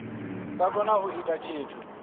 sa kona u ita tshithu